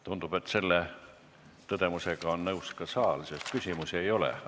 Tundub, et selle tõdemusega on nõus ka saal, sest küsimusi ei ole.